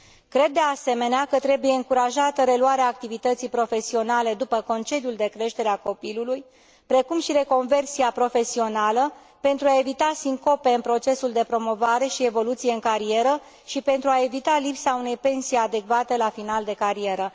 Cred, de asemenea, că trebuie încurajată reluarea activității profesionale după concediul de creștere a copilului, precum și reconversia profesională, pentru a evita sincopele în procesul de promovare și evoluție în carieră și pentru a evita lipsa unei pensii adecvate la final de carieră.